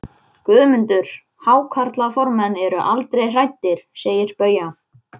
Skreytingar í kirkjur og á opinbera staði.